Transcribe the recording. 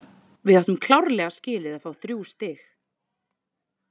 Við áttum klárlega skilið að fá þrjú stig.